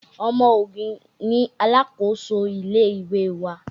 Ọmọ Ògùn ni alákòóso ilé ìwé wa